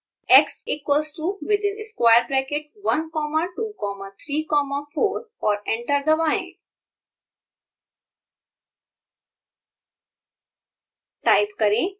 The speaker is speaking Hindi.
टाइप करें x one equals to within square bracket one comma two comma three comma fourऔर एंटर दबाएँ